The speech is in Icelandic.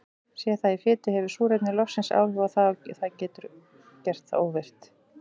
Sé það í fitu hefur súrefni loftsins áhrif á það og getur gert það óvirkt.